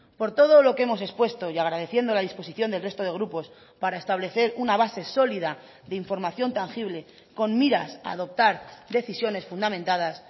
por todo lo que hemos expuesto y agradeciendo la disposición del resto de grupos para establecer una base sólida de información tangible con miras a adoptar decisiones fundamentadas